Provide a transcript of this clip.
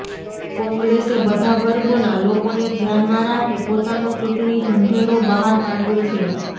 કોંગ્રેસે બધા વર્ગોના લોકોને ધ્યાનમાં રાખી પોતાનો ચૂંટણી ઢંઢેરો બહાર પાડ્યો છે